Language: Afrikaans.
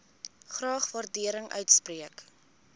graag waardering uitspreek